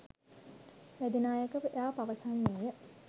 වැදි නායකයා පවසන්නේය